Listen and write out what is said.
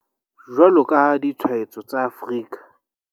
Jwalo ka ha ditshwaetso tsa Afrika